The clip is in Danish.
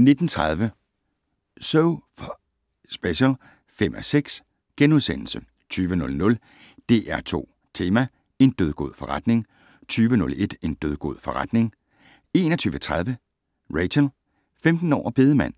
19:30: So F***ing Special (5:6)* 20:00: DR2 Tema: En dødgod forretning 20:01: En dødgod forretning 21:30: Rachel - 15 år og bedemand